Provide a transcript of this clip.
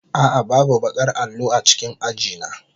A'a, babu baƙar allo a cikin aji na.